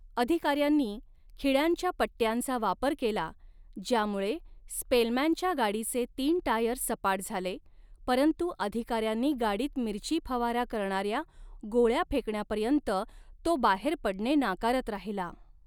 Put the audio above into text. अधिकाऱ्यांनी 'खिळ्यांच्या पट्ट्यांचा' वापर केला ज्यामुळे स्पेलमॅनच्या गाडीचे तीन टायर सपाट झाले, परंतु अधिकाऱ्यांनी गाडीत मिरची फवारा करणाऱ्या गोळ्या फेकण्यापर्यंत तो बाहेर पडणे नाकारत राहिला.